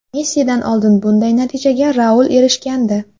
Messidan oldin bunday natijaga Raul erishgandi.